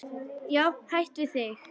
Hætt við þig.